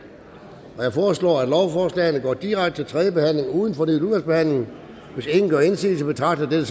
jeg foreslår at lovforslagene går direkte til tredje behandling uden fornyet udvalgsbehandling hvis ingen gør indsigelse betragter